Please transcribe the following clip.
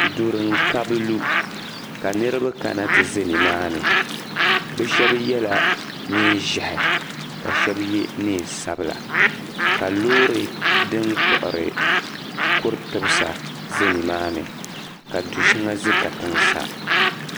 Duri n kabi lu ka niribi. kana ti ʒa nimaani, bɛ shabi yela neen' ʒehi kashabi ye neen' sabila ka lɔɔri din kpuɣiri kuri tumda la ka diʒa nimaa ni ka di shaŋa ka tiŋ sa